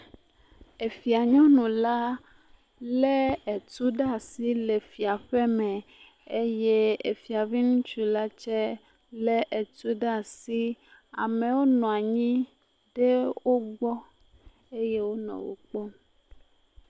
Efia nyɔnu la, lé etu ɖe asi le fiaƒeme eye efia be ŋutsu la tsɛ lé etu ɖe asi. Amewo nɔ anyi ɖe wo gbɔ eye wonɔ wo kpɔm.